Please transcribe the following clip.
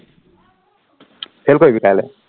fail কৰিবি কাইলে